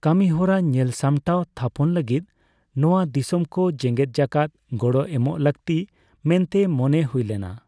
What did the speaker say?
ᱠᱟᱹᱢᱤᱦᱚᱨᱟ ᱧᱮᱞᱥᱟᱢᱴᱟᱣ ᱛᱷᱟᱯᱚᱱ ᱞᱟᱹᱜᱤᱫ ᱱᱚᱣᱟ ᱫᱤᱥᱚᱢᱠᱚ ᱡᱮᱜᱮᱫ ᱡᱟᱠᱟᱛ ᱜᱚᱲᱚ ᱮᱢᱚᱜ ᱞᱟᱹᱠᱛᱤ ᱢᱮᱱᱛᱮ ᱢᱚᱱᱮ ᱦᱩᱭ ᱞᱮᱱᱟ ᱾